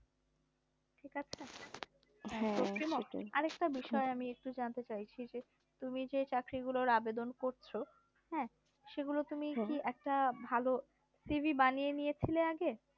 আর একটা বিষয় আমি একটু জানতে চাইছি যে তুমি যে চাকরিগুলোর আবেদন করছ হ্যাঁ সেগুলো তুমি কি একটা ভালো CV বানিয়ে নিয়েছিলে আগে